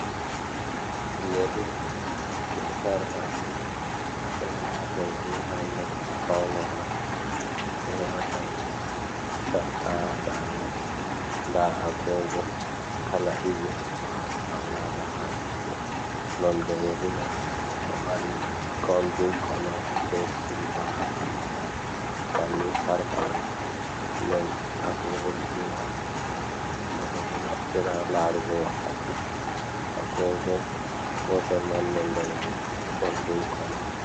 Yeri be sarka ɓe ɗo wata yari ha noppi faunora, sarqa ha dande, nda agogo kala ɗiɗi ɓeɗo haɓa agogo ha juɗe nonde yari man ɗo mari goldin kolo be silva ha ɓandu man bannin sarqa man den agogo ɗiɗi man bo ɓe ɗo naftiri ha larugo wakkati, agogo gotel man nonde man golden kolo.